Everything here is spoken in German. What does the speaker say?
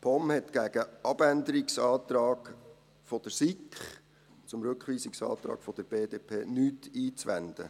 Die POM hat nichts gegen den Abänderungsantrag der SiK zum Rückweisungsantrag der BDP einzuwenden.